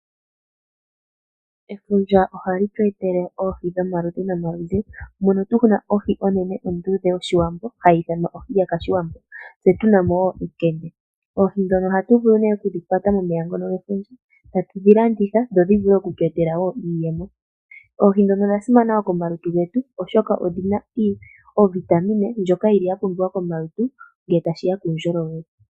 Efundja ohali tu etele oohi dhomaludhi nomaludhi, mono ohi enene onduudhe yoshiwambo hayi ithanwa ohi yakashiwambo mono tuna wo ekende. Oohi ndhono ohatu vulu okudhi kwata momeya ngono gefundja, ta tudhi landitha dho dhi vule okutu etela wo iiyemo. Oihi ndhono odha simana wo komalutu getu oshoka odhina ovitamine ndjoka yili ya pumbiwa komalutu ngele tashi ya puundjolowele.